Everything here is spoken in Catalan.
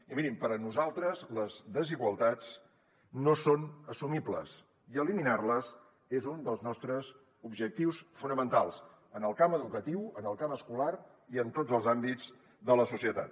i mirin per a nosaltres les desigualtats no són assumibles i eliminar les és un dels nostres objectius fonamentals en el camp educatiu en el camp escolar i en tots els àmbits de la societat